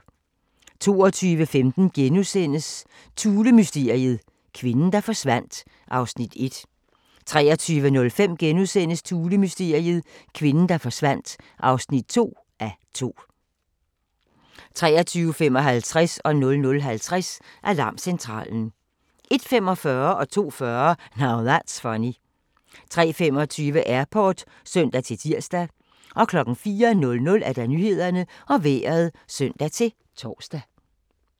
22:15: Thulemysteriet - kvinden, der forsvandt (1:2)* 23:05: Thulemysteriet - kvinden, der forsvandt (2:2)* 23:55: Alarmcentralen 00:50: Alarmcentralen 01:45: Now That's Funny 02:40: Now That's Funny 03:25: Airport (søn-tir) 04:00: Nyhederne og Vejret (søn-tor)